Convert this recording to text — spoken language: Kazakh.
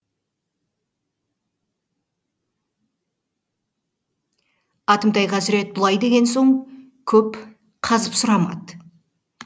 атымтай қазірет бұлай деген соң көп қазып сұрамады